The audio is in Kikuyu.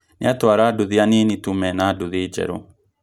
Nĩ atawara nduthi anini tu mena nduthi njeru